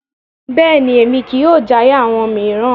Bẹ́ẹ̀ni, Emi kii yóò jaya awọn miiran